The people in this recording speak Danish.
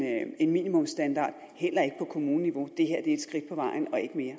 en minimumsstandard heller ikke på kommuneniveau det her er et skridt på vejen